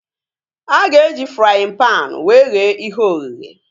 A ga-eji fraaịn panu wee ghee ihe ogheghe